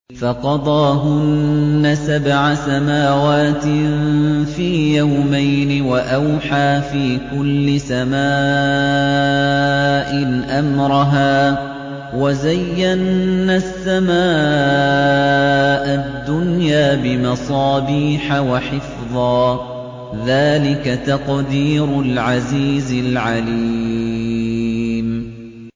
فَقَضَاهُنَّ سَبْعَ سَمَاوَاتٍ فِي يَوْمَيْنِ وَأَوْحَىٰ فِي كُلِّ سَمَاءٍ أَمْرَهَا ۚ وَزَيَّنَّا السَّمَاءَ الدُّنْيَا بِمَصَابِيحَ وَحِفْظًا ۚ ذَٰلِكَ تَقْدِيرُ الْعَزِيزِ الْعَلِيمِ